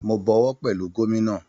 Mo bọwọ́ pẹ̀lú gómínà